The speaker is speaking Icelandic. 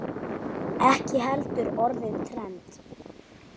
Ekki heldur orðið trend.